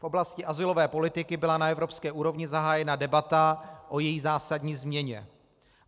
V oblasti azylové politiky byla na evropské úrovni zahájena debata o její zásadní změně.